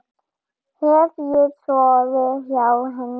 Hef ég sofið hjá henni?